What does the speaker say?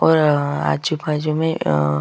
और आ आजु-बाजु में आ--